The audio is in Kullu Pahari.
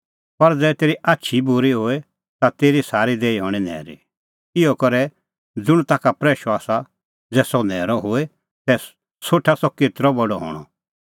पर ज़ै तेरी आछ ई बूरी होए ता तेरी सारी देही हणीं न्हैरी इहअ करै ज़ुंण ताखा प्रैशअ आसा ज़ै सह न्हैरअ होए तै सोठा सह केतरअ बडअ हणअ